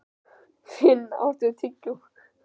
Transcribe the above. Finn, áttu tyggjó?